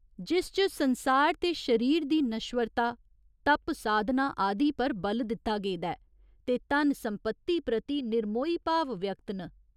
जिस च संसार ते शरीर दी नश्वरता, तप साधना आदि पर बल दित्ता गेदा ऐ ते धन सम्पति प्रति निर्मोही भाव व्यक्त न।